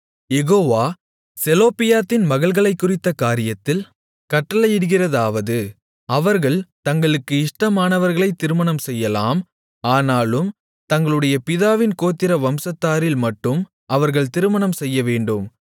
யெகோவா செலொப்பியாத்தின் மகள்களைக்குறித்த காரியத்தில் கட்டளையிடுகிறதாவது அவர்கள் தங்களுக்கு இஷ்டமானவர்களை திருமணம்செய்யலாம் ஆனாலும் தங்களுடைய பிதாவின் கோத்திர வம்சத்தாரில் மட்டும் அவர்கள் திருமணம் செய்யவேண்டும்